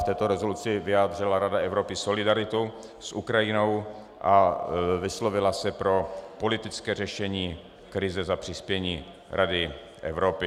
V této rezoluci vyjádřila Rada Evropy solidaritu s Ukrajinou a vyslovila se pro politické řešení krize za přispění Rady Evropy.